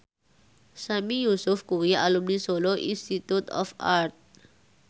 Sami Yusuf kuwi alumni Solo Institute of Art